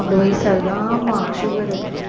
வயசாகுது ஆமா sugar